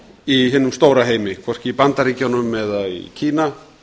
í hinum stóra heimi hvorki í bandaríkjunum né kína